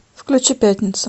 включи пятницу